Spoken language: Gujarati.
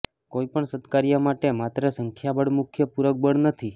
કોઇ પણ સત્કાર્ય માટે માત્ર સંખ્યાબળ મુખ્ય પૂરક બળ નથી